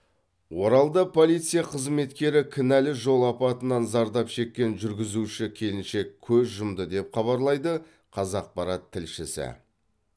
оралда полиция қызметкері кінәлі жол апатынан зардап шеккен жүргізуші келіншек көз жұмды деп хабарлайды қазақпарат тілшісі